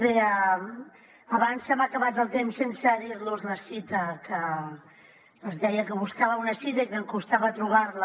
bé abans se m’ha acabat el temps sense dir los la cita que els deia que buscava una cita i que em costava trobar la